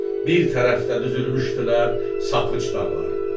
Bir tərəfdə düzülmüşdülər Sapıqc dağları.